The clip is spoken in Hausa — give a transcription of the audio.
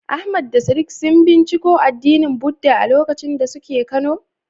Ahmad da Sadiq sun binciko addinin Buddah a lokacin da suke kano?